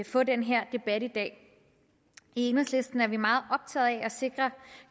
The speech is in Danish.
få den her debat i dag i enhedslisten er vi meget optaget af at sikre